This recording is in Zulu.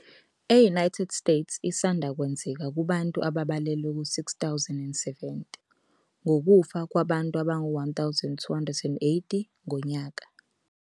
E-United States, isanda kwenzeka kubantu ababalelwa ku-6 070 ngokufa kwabantu abangu-1 280 ngonyaka.